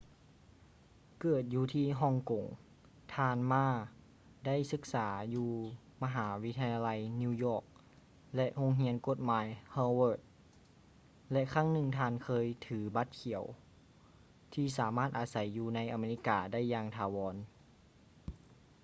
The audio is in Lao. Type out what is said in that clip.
ເກີດຢູ່ທີ່ຮ່ອງກົງ ທ່ານ ma ໄດ້ສຶກສາຢູ່ມະຫາວິທະຍາໄລ new york ແລະ ໂຮງຮຽນກົດໝາຍ harvard ແລະ ຄັ້ງໜຶ່ງທ່ານເຄີຍຖື ບັດຂຽວ ທີ່ສາມາດອາໄສຢູ່ໃນອາເມລິກາໄດ້ຢ່າງຖາວອນ